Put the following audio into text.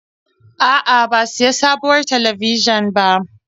A'a, ba sayi sabuwar talabijin ba.